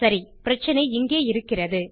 சரி பிரச்சினை இங்கே இருக்கிறது